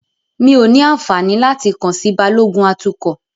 Mí ó ní àǹfààní láti kàn sí Balógun atukọ̀.